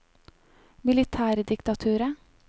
militærdiktaturet